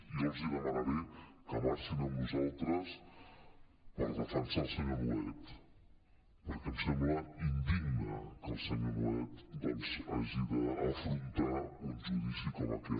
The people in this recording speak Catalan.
jo els demanaré que marxin amb nosaltres per defensar el senyor nuet perquè em sembla indigne que el senyor nuet doncs hagi d’afrontar un judici com aquest